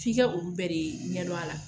F'i ka olu bɛɛ de ɲɛdon a la.